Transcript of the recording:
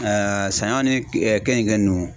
saɲɔn ni keninke nunnu.